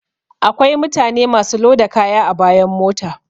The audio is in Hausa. Akwai mutane masu loda kaya a bayan mota